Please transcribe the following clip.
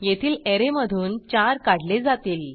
येथील ऍरेमधून 4 काढले जातील